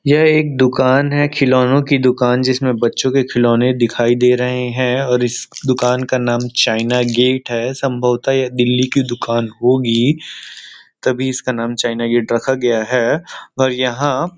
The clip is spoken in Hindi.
यह एक दुकान है खिलौनों की दुकान जिसमें बच्चों के खिलौने दिखाई दे रहे हैं और इस दुकान का नाम चाइना गेट है संभवता यह दिल्ली की दुकान होगी तभी इसका नाम चाइना गेड रखा गया है और यहां --